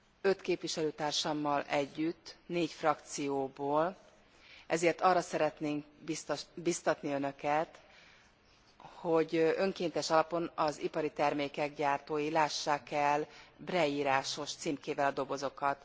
Öt képviselőtársammal együtt négy frakcióból ezért arra szeretnénk bíztatni Önöket, hogy önkéntes alapon az ipari termékek gyártói lássák el Braille írásos címkével a dobozokat.